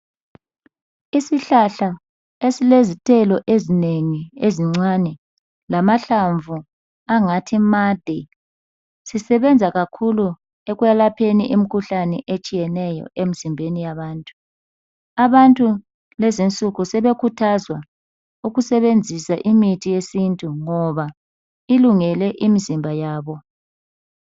Isihlahla esilezithelo ezinengi ezincane. Lamahlamvu angathi made. Sisebenza kakhulu ekwelapheni imikhuhlane etshiyeneyo emzimbeni yabantu, Abantu kulezi insuku sebekhuthazwa ukusebebenzisa imithi yesintu, ngoba ilungele imizimba yabo.